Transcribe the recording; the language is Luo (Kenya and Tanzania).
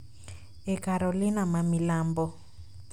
e Carolina ma milambo,